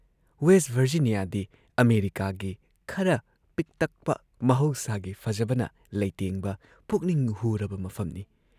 West ꯚꯔꯖꯤꯅꯤꯌꯥꯗꯤ ꯑꯃꯦꯔꯤꯀꯥꯒꯤ ꯈꯔ ꯄꯤꯛꯇꯛꯄ ꯃꯍꯧꯁꯥꯒꯤ ꯐꯖꯕꯅ ꯂꯩꯇꯦꯡꯕ ꯄꯨꯛꯅꯤꯡ ꯍꯨꯔꯕ ꯃꯐꯝꯅꯤ ꯫